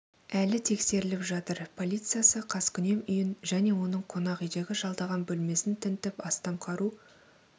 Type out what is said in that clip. әлі тексеріліп жатыр полициясы қаскүнем үйін және оның қонақ үйдегі жалдаған бөлмесін тінтіп астам қару